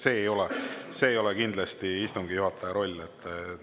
See ei ole kindlasti istungi juhataja roll.